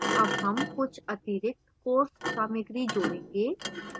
add हम कुछ अतिरिक्त course सामाग्री जोड़ेंगे